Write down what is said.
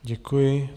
Děkuji.